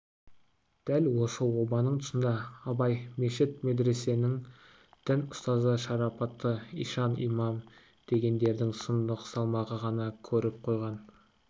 дәл осы обаның тұсында абай мешіт медресенің дін ұстазы шарапатты ишан имам дегендердің сұмдық салмағын ғана көріп қойған